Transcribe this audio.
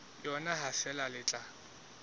yona ha feela le tla